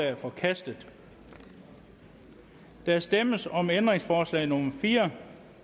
er forkastet der stemmes om ændringsforslag nummer fire